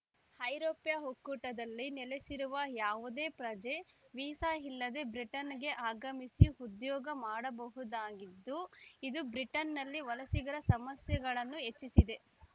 ಐರೋಪ್ಯ ಒಕ್ಕೂಟದಲ್ಲಿ ನೆಲೆಸಿರುವ ಯಾವುದೇ ಪ್ರಜೆ ವೀಸಾ ಇಲ್ಲದೆ ಬ್ರಿಟನ್‌ಗೆ ಆಗಮಿಸಿ ಉದ್ಯೋಗ ಮಾಡ ಬಹುದಾಗಿದ್ದು ಇದು ಬ್ರಿಟನ್‌ನಲ್ಲಿ ವಲಸಿಗರ ಸಮಸ್ಯೆಗನ್ನು ಹೆಚ್ಚಿಸಿದೆ